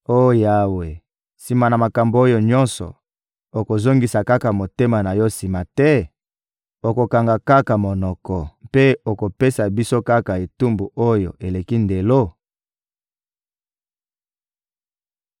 Oh Yawe, sima na makambo oyo nyonso, okozongisa kaka motema na Yo sima te? Okokanga kaka monoko mpe okopesa biso kaka etumbu oyo eleki ndelo?